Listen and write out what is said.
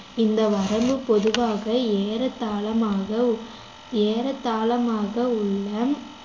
இந்த வரம்பு பொதுவாக ஏறதாளமாக ஏறதாளமாக உள்ள